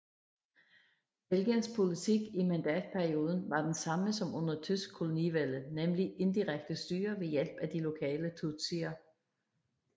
Belgiens politik i mandatperioden var den samme som under tysk kolonivælde nemlig indirekte styre ved hjælp af de lokale tutsier